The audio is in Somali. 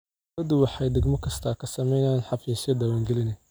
Dawladdu waxay degmo kasta ka samaysaa xafiisyo diwaangelineed.